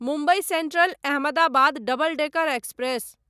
Mumbai central Ahmedabad double decker express